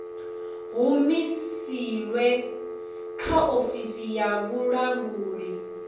humusilwe kha ofisi ya vhulanguli